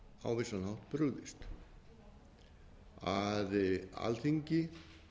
á vissan hátt brugðist að alþingi